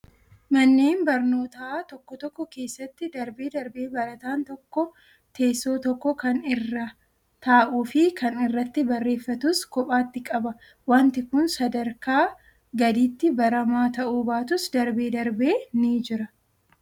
Manneen barnootaa tokko tokko keessatti darbee darbee barataan tokko teessoo tokko kan irra taa'uu fi kan irratti barreeffatus kophaatti qaba. Wanti kun sadarka gadiitti baramaa ta'uu baatus darbee darbee ni jira.